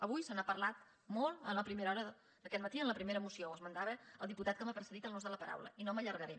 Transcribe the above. avui se n’ha parlat molt en la primera hora d’aquest matí en la primera moció ho esmentava el diputat que m’ha precedit en l’ús de la paraula i no m’hi allargaré